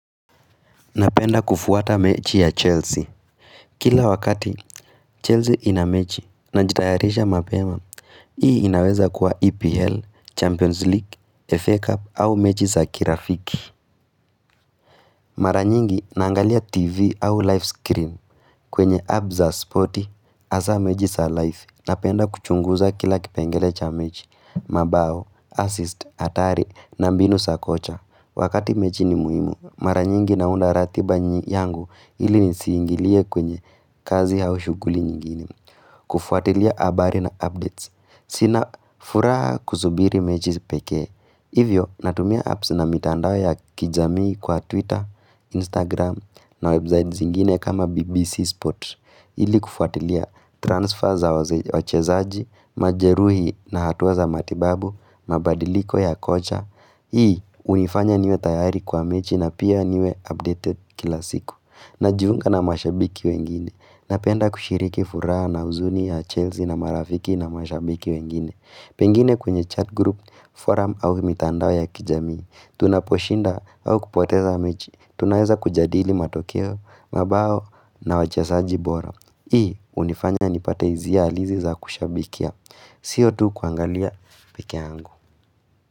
Napenda kufuata mechi ya Chelsea. Kila wakati, Chelsea inamechi na jitayarisha mapema. Hii inaweza kuwa EPL, Champions League, FA Cup au mechi sa kirafiki. Maranyingi nangalia TV au live screen kwenye app za spotti hasa mechi za live. Napenda kuchunguza kila kipengele cha mechi, mabao, assist, atari na mbinu sa kocha. Wakati mechi ni muhimu, mara nyingi naunda ratiba yangu ili nisiingilie kwenye kazi haushuguli nyingini. Kufuatilia abari na updates. Sina furaha kusubiri mechi pekee. Hivyo, natumia apps na mitandao ya kijamii kwa Twitter, Instagram na websites ingine kama BBC Sport. Ili kufuatilia transfer za wache zaaji, majeruhi na hatuwa za matibabu, mabadiliko ya kocha. Hii, unifanya niwe tayari kwa mechi na pia niwe updated kila siku na jiunga na mashabiki wengine Napenda kushiriki furaha na uzuni ya Chelsea na marafiki na mashabiki wengine Pengine kunye chat group, forum au imitandao ya kijamii Tunaposhinda au kupoteza mechi Tunaeza kujadili matokeo, mabao na wachezaji bora Hii, hunifanya nipate hisia halisi za kushabikia Sio tu kuangalia pekee yangu.